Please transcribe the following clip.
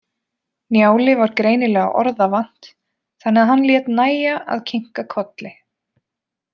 Njáli var greinilega orða vant þannig að hann lét nægja að kinka kolli.